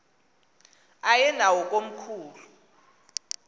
aye nawo komkhulu